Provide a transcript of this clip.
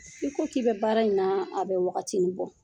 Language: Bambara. I ko k'i bɛ baara in na, a bɛ wagati ni bɔ.